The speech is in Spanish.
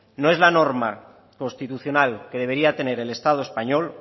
no es la norma constitucional que debería de tener el estado español